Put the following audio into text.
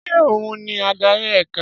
Ṣé òhun ni adari ẹka?